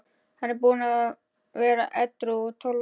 Hann er búinn að vera edrú í tólf ár.